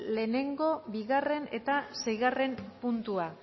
lehenengo bigarren eta seigarren puntua